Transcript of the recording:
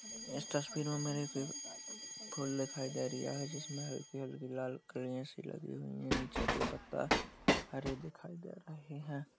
इस तस्वीर में मुझे फूल दिखाई रिया है । जिसमें हल्की हल्की लाल कलिया सी लगी हुई है । नीचे का पत्ता हरे दिखाई दे रहे हैं ।